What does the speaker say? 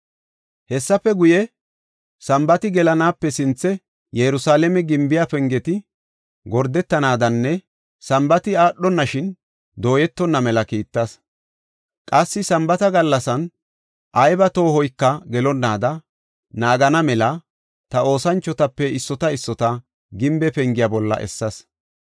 Hessafe guye, Sambaati gelanaape sinthe Yerusalaame gimbiya pengeti gordetanaadanne Sambaati aadhonashin dooyetonna mela kiittas. Qassi Sambaata gallasan ayba toohoyka gelonnaada naagana mela ta oosanchotape issota issota gimbe pengiya bolla essas.